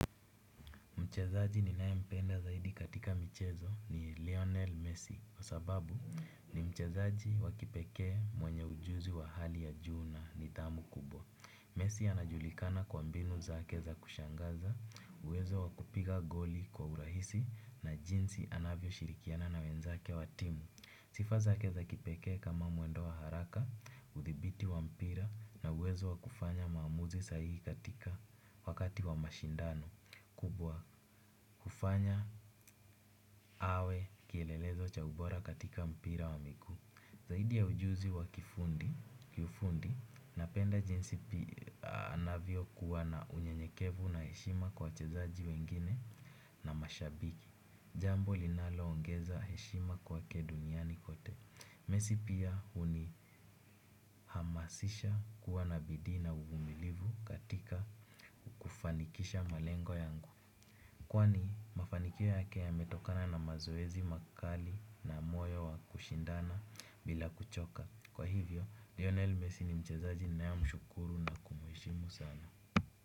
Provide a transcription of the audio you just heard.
Mchezaji ni nae mpenda zaidi katika michezo ni Lionel Messi. Kwa sababu ni mchezaji wa kipekee mwenye ujuzi wa hali ya juu na nidhamu kubwa. Messi anajulikana kwa mbio zake za kushangaza, uwezo wakupiga goli kwa urahisi na jinsi anavyo shirikiana na wenzake wa timu. Sifa zake za kipekee kama mwendo wa haraka, uthibiti wa mpira na uwezo wakufanya maamuzi sahihi katika wakati wa mashindano. Kufanya awe kielelezo cha ubora katika mpira wa miku. Zaidi ya ujuzi wa kifundi kiufundi napenda jinsi pia anavyo kuwa na unyenyekevu na heshima kwa wachezaji wengine na mashabiki. Jambo linalo ongeza heshima kwa ke duniani kote Messi pia uni hamasisha kuwana bidiii uvumilivu katika kufanikisha malengo yangu kwani mafanikio yake yametokana na mazoezi makali na moyo wa kushindana bila kuchoka. Kwa hivyo, lionel Messi ni mchezaji ninaye mshukuru na kumuishimu sana.